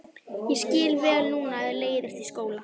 Ég skil vel núna að þér leiðist í skóla.